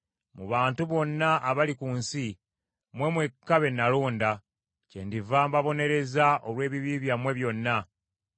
“Mu bantu bonna abali ku nsi, mmwe mwekka be nalonda. Kyendiva mbabonereza olw’ebibi byammwe byonna.”